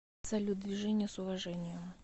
салют движение с уважением